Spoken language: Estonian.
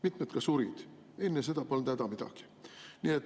Mitmed ka surid, enne seda polnud häda midagi.